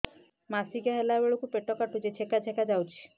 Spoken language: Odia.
ମାସିକିଆ ହେଲା ବେଳକୁ ପେଟ କାଟୁଚି ଚେକା ଚେକା ଯାଉଚି